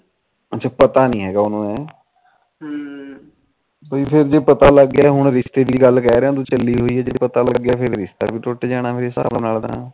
ਬਈ ਜੇ ਪਤਾ ਲੱਗ ਗਿਆ ਹੁਣ ਰਿਸ਼ਤੇ ਦੀ ਗੱਲ ਕਹਿ ਰਿਹਾ ਸਹੇਨੀ ਹੋਈ ਫਿਰ ਰਿਸ਼ਤਾ ਵੀ ਟੁਟ ਜਾਣਾ ਇਸ ਸਾਬ ਨਾਲ ਤਾ